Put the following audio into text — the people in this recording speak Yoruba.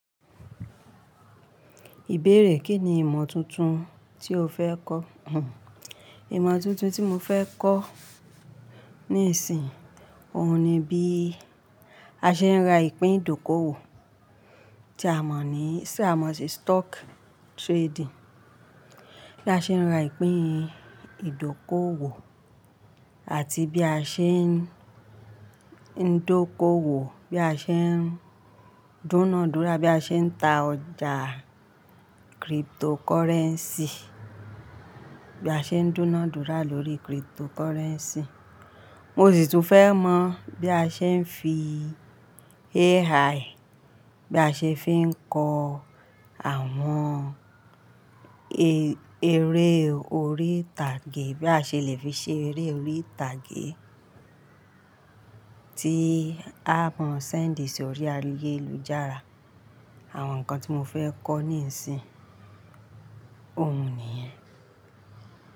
Ìbéèrè, kínni ìmọ̀ tuntun tí o fẹ́ kọ̀? Ìmọ̀ tuntun tí mo fẹ́ kọ̀ níìsín, òun ni bí a ṣe ń ra ìpín ìdókòwò tí a mọ̀ ní, tí a mọ̀ sí stock trading. Bí a ṣe ń ra ìpín ìdókòwò àti bí a ṣe ń dóko wò, bí a ṣe ń duná dúrà, bí a ṣe ń ta ọjà cryptocurrency, bí a ṣe ń duná dúrà lórí cryptocurrency. Mo sì tún fẹ́ mọ̀ bí a ṣe ń fi AI, bí a ṣe fi ń kọ àwọn eré orí ìtàgé, bí a ṣe le fi ṣe eré orí ìtàgé tí a mọ̀ fi sowo si orí ayélujára. Àwọn nǹkan tí mo fẹ́ kọ́ níìsín, òun nìyẹn.